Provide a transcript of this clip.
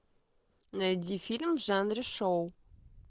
найди фильм в жанре шоу